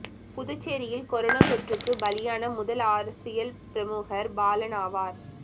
புதுச்சேரியில் கொரோனா தொற்றுக்கு பலியான முதல் அரசியல் பிரமுகர் பாலன் ஆவார்